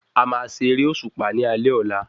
A má ṣe eré òṣùpá ní alé ọ̀la